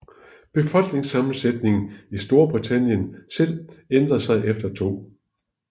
Befolkningssammensætningen i Storbritannien selv ændrede sig efter 2